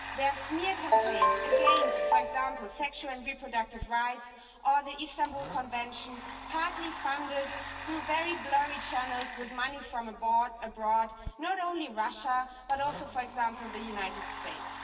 There are smear campaigns against, for example, sexual and reproductive rights or the Istanbul Convention, partly funded through very blurry channels with money from abroad, not only Russia, but also, for example, the United States.